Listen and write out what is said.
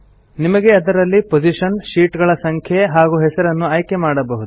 ನಿಮಗೆ ಅದರಲ್ಲಿ position sheet ಗಳ ಸಂಖ್ಯೆ ಹಾಗೂ ಹೆಸರನ್ನು ಆಯ್ಕೆ ಮಾಡಬಹುದು